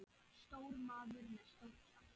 Stór maður með stórt hjarta.